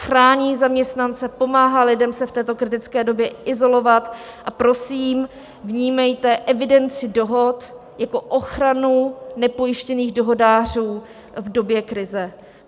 Chrání zaměstnance, pomáhá lidem se v této kritické době izolovat, a prosím, vnímejte evidenci dohod jako ochranu nepojištěných dohodářů v době krize.